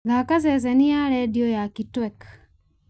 thaaka ceceni ya rĩndiũ ya kitwek